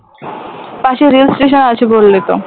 পাশে রেলস্টেশন আছে বললে তো